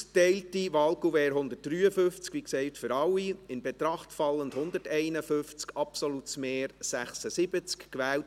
Bei 153 ausgeteilten und 153 eingegangenen Wahlzetteln, in Betracht fallend 151, wird mit einem absoluten Mehr von 76 gewählt: